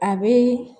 A bɛ